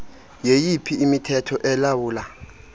yeyiphi imithetho elawula